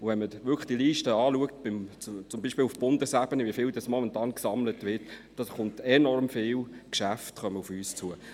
Schaut man sich die Liste, zum Beispiel auf Bundesebene, an und sieht, wie viel momentan gesammelt wird, kommen enorm viele Geschäfte auf uns zu.